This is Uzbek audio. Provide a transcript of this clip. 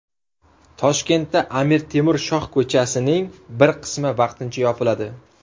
Toshkentda Amir Temur shohko‘chasining bir qismi vaqtincha yopiladi.